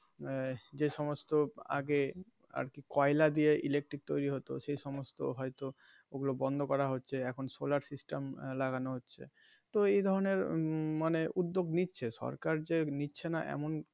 আহ যে সমস্ত আগে আর কি কয়লা দিয়ে electric তৈরী হতো তো সেই সমস্ত হয় তো ওগুলো বন্ধ করা হচ্ছে এখন solar system লাগানো হচ্ছে তো এই ধরণের মানে উদ্যোগ নিচ্ছে সরকার যে নিচ্ছে না এমন.